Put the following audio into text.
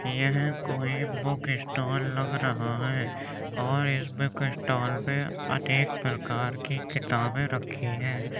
यह कोई book stall लग रहा है और इस बुक स्टॉल में अनेक प्रकार की किताबें रखी हैं।